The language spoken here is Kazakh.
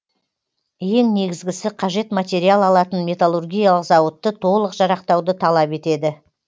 ең негізгісі қажет материал алатын металлургиялық зауытты толық жарақтауды талап етеді